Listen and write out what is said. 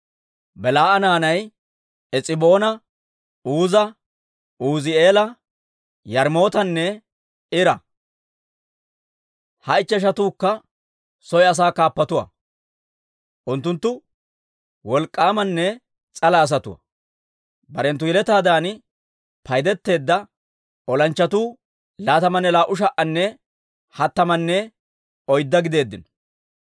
Belaa'a naanay Es'iboona, Uuza, Uuzi'eela, Yaarimootanne Ira; ha ichcheshatuukka soy asaa kaappatuwaa. Unttunttu wolk'k'aamanne s'ala asatuwaa. Barenttu yeletaadan paydeteedda olanchchatuu laatamanne laa"u sha"anne hattamanne oydda gideeddino.